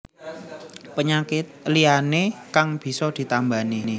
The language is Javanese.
Penyakit liyané kang bisa ditambani